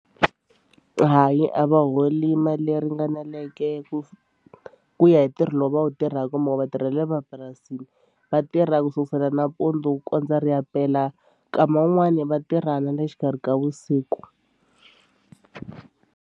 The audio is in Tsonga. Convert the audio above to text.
Hayi a va holi mali leyi ringaneleke ku ku ya hi ntirho lowu va wu tirhaka hi mhaka vatirhi va le mapurasini va tirha ku sukusela nampundzu ku kondza ri ya pela nkama wun'wani va tirha na le xikarhi ka vusiku.